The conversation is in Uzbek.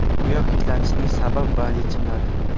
Oyoq hidlanishining sabab va yechimlari.